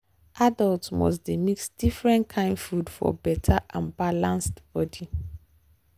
adults must dey mix different kain food for better and balance body.